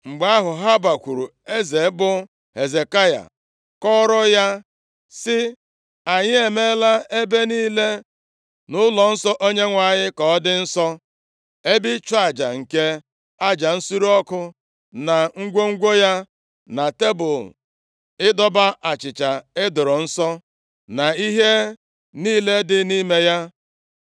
Mgbe ahụ, ha bakwuru eze bụ Hezekaya kọọrọ ya sị, “Anyị emeela ebe niile nʼụlọnsọ Onyenwe anyị ka ọ dị nsọ, ebe ịchụ aja nke aja nsure ọkụ na ngwongwo ya, na tebul ịdọba achịcha e doro nsọ, na ihe niile dị nʼime ya.